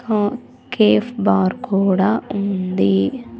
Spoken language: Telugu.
ఆ కేఫ్ బార్ కూడా ఉంది.